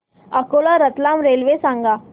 Akola Ratlam railway सांगा